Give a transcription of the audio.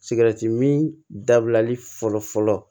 min dabilali fɔlɔ fɔlɔ